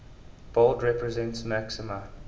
bold represents maxima